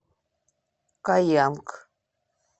каянг